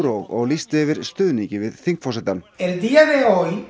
og lýsti yfir stuðningi við þingforsetann enn